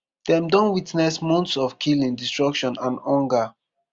dem don witness months of killing destruction and hunger.